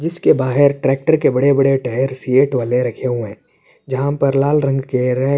جسکے بہار ٹریکٹر کے بڑے بڑے ٹائر ک سیٹ والے رکھے ہوئے ہے۔ جہا پر لال رنگ کے ری --